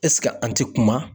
an ti kuma.